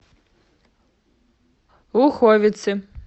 луховицы